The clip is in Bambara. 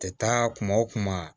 Tɛ taa kuma o kuma